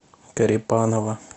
корепанова